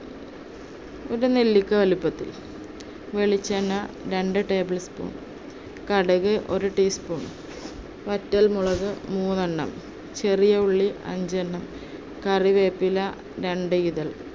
ഒരു നെല്ലിക്ക വലിപ്പത്തിൽ, വെളിച്ചെണ്ണ രണ്ട് tablespoon, കടുക് ഒരു teaspoon, വറ്റൽ മുളക് മൂന്നെണ്ണം, ചെറിയ ഉള്ളി അഞ്ചണ്ണം, കറിവേപ്പില രണ്ട് ഇതൾ